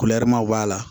b'a la